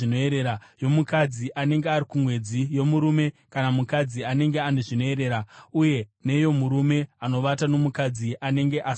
yomukadzi anenge ari kumwedzi, yomurume kana mukadzi anenge ane zvinoerera, uye neyomurume anovata nomukadzi anenge asina kuchena.